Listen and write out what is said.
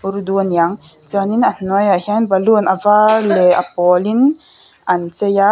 urdu a niang chuanin a hnuaiah hian balloon a vâr leh a pâwlin an chei a--